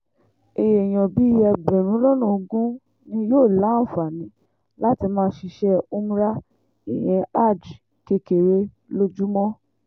èèyàn bíi ẹgbẹ̀rún lọ́nà ogún ni yóò láǹfààní láti máa ṣiṣẹ́ umra ìyẹn hajj kékeré lójúmọ́